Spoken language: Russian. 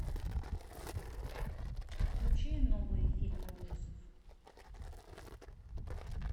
включи новые фильмы ужасов